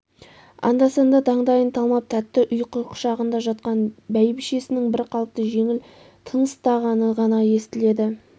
анда-санда таңдайын талмап тәтті ұйқы құшағында жатқан бәйбішесінің бір қалыпты жеңіл тыныстағаны ғана естіледі